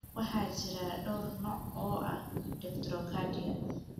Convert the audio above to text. Waxaa jira dhowr nooc oo ah dextrocardia.